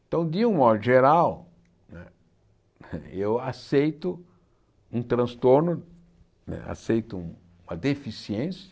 Então, de um modo geral, né eu aceito um transtorno, né aceito uma deficiência,